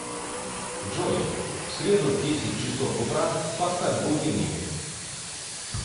джой в среду в десять часов утра поставь будильник